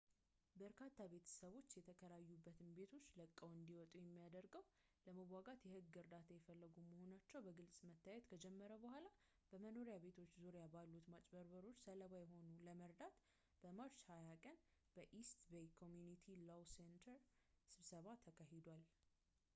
በርካታ ቤተሰቦች የተከራዩበትን ቤቶች ለቀው እንዲወጡ የሚያደርገውን ለመዋጋት የሕግ እርዳታ እየፈለጉ መሆናቸው በግልፅ መታየት ከጀመረ በኋላ፣ በመኖሪያ ቤት ዙሪያ ባሉት ማጭበርበሮች ሰለባ የሆኑትን ለመርዳት በmarch 20 ቀን በeast bay community law center ስብሰባ ተካሂዷል